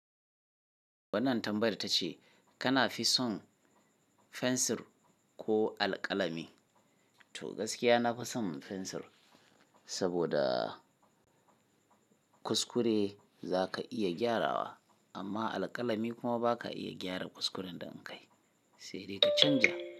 Wannan tambayar tace kana fi son fensir ko alƙalami? To gaskiya nafi son fensir, saboda kuskure za ka iya gyarawa amma alƙalami kuma ba ka iya gyara kuskuren da kai sai dai ka canza.